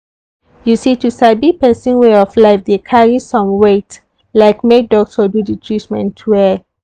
you see to sabi person way of life dey carry same weight like make doctor do the treatment well.